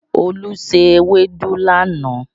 Olú se ewédú lánàá